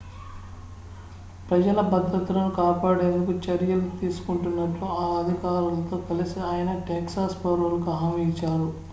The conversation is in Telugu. ప్రజల భద్రతను కాపాడేందుకు చర్యలు తీసుకుంటున్నట్లు ఆ అధికారులతో కలిసి ఆయన టెక్సాస్ పౌరులకు హామీ ఇచ్చారు